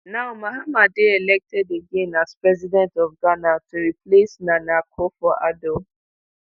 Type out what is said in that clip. now mahama dey elected again as president of ghana to replace nana akufo addo